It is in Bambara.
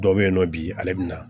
Dɔw bɛ yen nɔ bi ale bɛ na